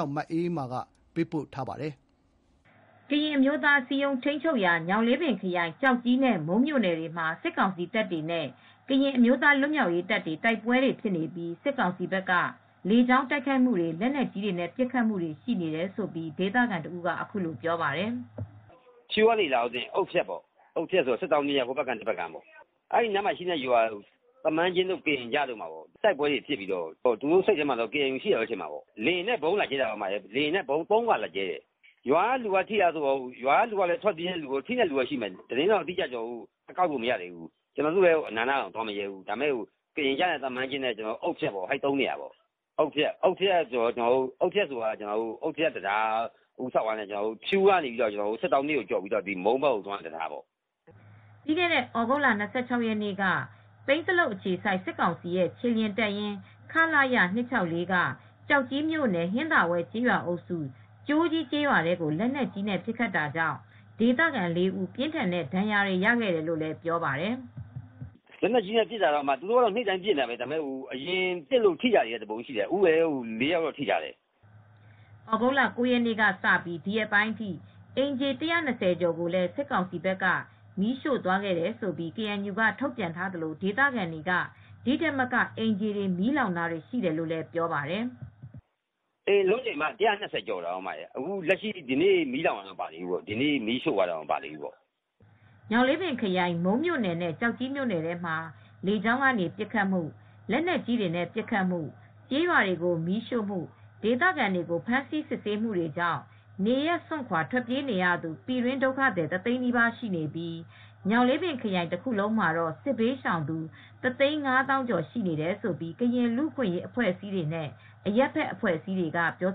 ောက် မအေးအေးမာက သတင်းပေးပို့ထားပါတယ်။ ကရင်အမျိုးသားအစည်းအရုံး ထိန်းချုပ်တဲ့ ညောင်လေးပင်ခရိုင် ကျောက်ကြီးနဲ့ မုန်းမြို့နယ်တွေမှာ စစ်ကောင်စီတပ်တွေနဲ့ ကရင်အမျိုးသား လွတ်မြောက်ရေးတပ်တွေကြား တိုက်ပွဲတွေ ဖြစ်နေပြီး စစ်ကောင်စီဘက်က လေကြောင်းက ဗုံးကြဲတိုက်ခိုက်တာ၊ လက်နက်ကြီးနဲ့ ပစ်ခတ်တာတွေ ရှိနေတယ်လို့ ဒေသခံတဦးက ဗွီအိုအေကို ပြောပါတယ်။ "ဖြူးကနေလာရင်တော့ အုတ်ဖြတ်ပေါ့။ အုတ်ဖြတ်ဆိုတာ စစ်တောင်းမြစ် ဟိုဘက်ကမ်း ဒီဘက်ကမ်းမှာပဲရှိတယ်။ အဲ့ဒီနားကရွာတွေ။ သမန်းကျင်းတို့၊ ကရင်ကျတို့ ရွာတွေဘက်မှာတော့ လေယာဉ်နဲ့ ဗုံးနဲ့လာကြဲတာပေါ့။ လေယာဉ်နဲ့ ဗုံးကို သုံးခါ လာကြဲတယ်။ ရွာက လူတွေကထိလား ဆိုရင်တော့ ထိတဲ့လူတွေလည်း ရှိမယ်။ အတိအကျတော့ မသိရသေးဘူး။ ကျနော်တို့ အနားကို သွားမရဲသေးဘူး။ ကရင်ကျရွာ အုတ်ဖြတ်ရွာ၊ သမန်းကျင်းရွာတို့ ဘက်မှာဖြစ်တာပါ။ အုတ်ဖြတ်ဆိုတာက အုတ်ဖြတ် တံတားနား။ ဖြူးကနေသွားရင် စစ်တောင်းမြစ်ကို ကျော်ပြီး သွားရတဲ့နေရာပေါ့။" ပြီးခဲ့တဲ့ ဩဂုတ်လ ၂၆ ရက်နေ့ကလည်း ပိန်းဇလုပ်အခြေစိုက် စစ်ကောင်စီ ခြေလျင်တပ်ရင်း က ကျောက်ကြီးမြို့နယ်၊ ဟင်္သာဝဲ ကျေးရွာအုပ်စု၊ ကြိုးကြီး ရွာထဲကို လက်နက်ကြီးနဲ့ပစ်ခတ်တာကြောင့် ဒေသခံရွာသား ၄ ဦး ပြင်းထန်တဲ့ဒဏ်ရာတွေရခဲ့တယ်လို့လည်း သူက ပြောပါတယ်။ "လက်နက်ကြီးနဲ့ ပစ်တာတော့ နေ့တိုင်းပဲ။ အရင်တုန်းက ပစ်တာလည်း ရှိတယ်။ အခု လက်နက်ကြီးနဲ့ ပစ်လို့ ထိထားတာက ၄ ယောက်ရှိတယ်။" ဩဂုတ်လ ၉ ရက်နေ့ကစလို့ အခုရက်ပိုင်းတွေအထိ အိမ်ခြေ ၁၂၀ ကျော်ကို စစ်ကောင်စီက မီးရှို့သွားခဲ့တဲ့အကြောင်း ကေအန်ယူက ထုတ်ပြန်ထားပါတယ်။ ဒေသခံတွေကတော့ ဒီ့ထက်မက အိမ်ခြေတွေမီးလောင်တာရှိတယ်လို့ ပြောပါတယ်။ "အိမ်အလုံးရေကတော့ ၁၂၀ ကျော် မီးလောင်သွားတယ်။ ဒီနေ့ မီးလာ ရှို့တာတွေတော့ မပါသေးဘူး။" ညောင်လေးပင်းခရိုင် မုန်းမြို့နယ်နဲ့ ကျောက်ကြီးမြို့နယ်တွေထဲမှာ စစ်ကောင်စီက လေကြောင်းကနေ ဗုံးကြဲတာ၊ လက်နက်ကြီးတွေနဲ့ ပစ်ခတ်တာ၊ ကျေးရွာတွေကို မီးရှို့၊ ဒေသခံတွေကို ဖမ်းဆီး စစ်ဆေးတာတွေလုပ်နေတာကြောင့် ဒေသတွင်းမှာ အိုးအိမ်စွန့်ခွာ ထွက်ပြေးနေရသူ ၁ သိန်း နီးပါးရှိနေပြီး ညောင်လေးပင်ခရိုင် တခုလုံးမှာတော့ စစ်ဘေးရှောင်သူ ၁၅၀,၀၀၀ ကျော် ရှိနေတယ်လို့ ကရင်လူအခွင့်ရေးအဖွဲ့နဲ့ အရပ်ဖက် အဖွဲ့အစည်းတွေက ပြော